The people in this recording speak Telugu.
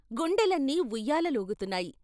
గుండెలన్నీ ఉయ్యాలలూగుతున్నాయి.